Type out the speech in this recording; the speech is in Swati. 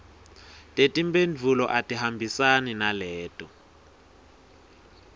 tetimphendvulo atihambisane naleto